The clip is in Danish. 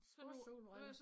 Sportssolbriller